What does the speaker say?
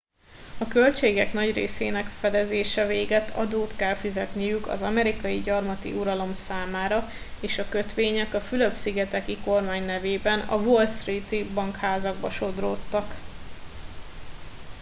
a költségek nagy részének fedezése végett adót kellett fizetniük az amerikai gyarmati uralom számára és a kötvények a fülöp szigeteki kormány nevében a wall street i bankházakba sodródtak